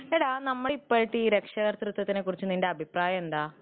എടാ നമ്മളെ ഈ രക്ഷാകർതൃത്വത്തെ കുറിച്ച് അഭിപ്രായം എന്താ ?